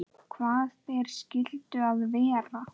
Hvaða ber skyldu það vera?